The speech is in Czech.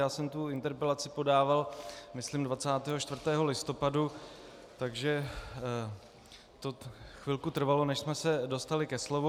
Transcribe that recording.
Já jsem tu interpelaci podával myslím 24. listopadu, takže to chvilku trvalo, než jsme se dostali ke slovu.